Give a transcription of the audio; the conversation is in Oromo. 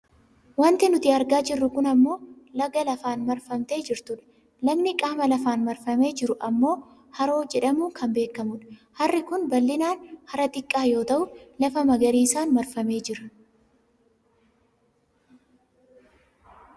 Wanti nuti argaa jirru kun ammoo laga lafaan marfamtee jirtudha. Lagni qaama lafaan marfamee jiru ammoo hara jedhamuun kan beekkamu dha. Harri kun bal'inaan hara xiqqaa yoo ta'u lafa magariisaan marfamee jira.